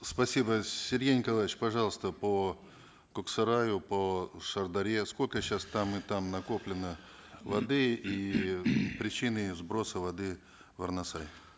спасибо сергей николаевич пожалуйста по коксараю по шардаре сколько сейчас там и там накоплено воды и причины сброса воды в арнасай